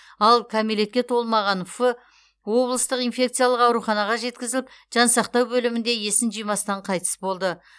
ал кәмелетке толмаған ф облыстық инфекциялық ауруханаға жеткізіліп жансақтау бөлімінде есін жимастан қайтыс болды